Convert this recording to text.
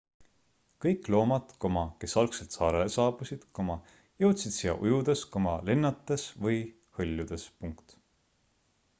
kõik loomad kes algselt saarele saabusid jõudsid siia ujudes lennates või hõljudes